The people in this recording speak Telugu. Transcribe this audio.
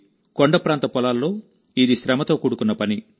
కొండప్రాంత పొలాల్లో ఇది శ్రమతో కూడుకున్న పని